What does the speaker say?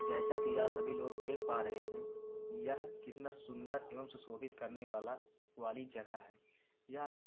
जैसा कि आप सभी लोग देख पा रहे हैं यह कितना सुंदर एवं सुशोभित करने वाला-वाली जगह है। यहां कुछ --